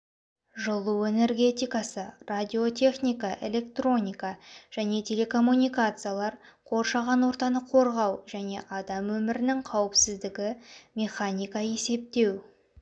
жылу энергетикасы радиотехника электроника және телекоммуникациялар қоршаған ортаны қорғау және адам өмірінің қауіпсіздігі механика есептеу